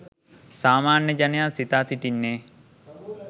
සාමාන්‍ය ජනයා සිතා සිටින්නේ